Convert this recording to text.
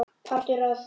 Partur af því?